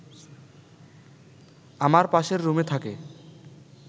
আমার পাশের রুমে থাকে